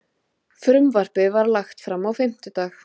Frumvarpið var lagt fram á fimmtudag